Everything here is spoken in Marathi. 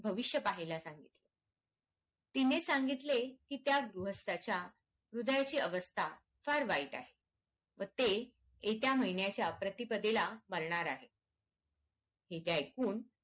भविष्य पाहायला सांगितले तिने सांगितले कि त्या गृहस्थाच्या हृदयाची अवस्था फार वाईट आहे व ते येत्या महिन्याच्या प्रतिपदेला मारणार आहे हे ते ऐकून